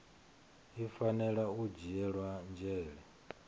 i fanela u dzhiela nzhele